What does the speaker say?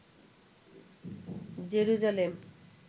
Jerusalem